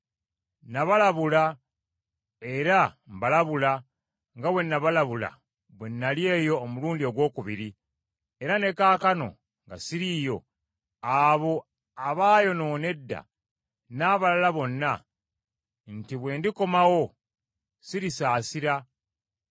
Nabalabula era mbalabula nga bwe nabalabula bwe nnali eyo omulundi ogwokubiri, era ne kaakano nga ssiriiyo, abo abaayonoona edda n’abalala bonna, nti bwe ndikomawo ssirisaasira,